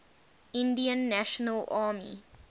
indian national army